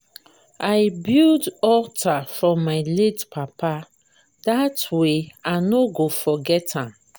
i build alter for my late papa dat way i no go forget am